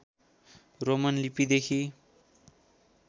Roman लिपिदेखि